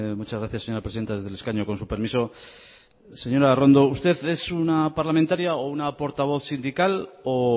muchas gracias señora presidenta desde el escaño con su permiso señora arrondo usted es una parlamentaria o una portavoz sindical o